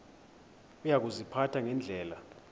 uya kuziphatha ngendlela